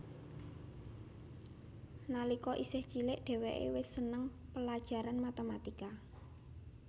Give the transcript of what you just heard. Nalika isih cilih dheweke wis seneng pelajaran matematika